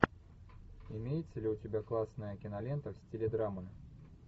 имеется ли у тебя классная кинолента в стиле драмы